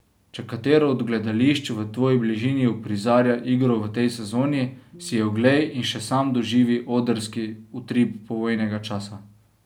Če katero od gledališč v tvoji bližini uprizarja igro v tej sezoni, si jo oglej in še sam doživi odrski utrip povojnega časa.